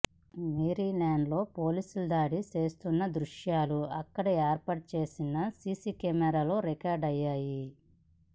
Maryland లో పోలీసులు దాడి చేస్తున్న దృశ్యాలు అక్కడ ఏర్పాటు చేసిన సీసీ కెమెరాల్లో రికార్డు అయ్యాయి